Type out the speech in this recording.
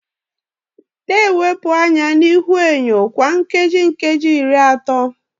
Na-elepụ anya na ihuenyo kwa nkeji nkeji iri atọ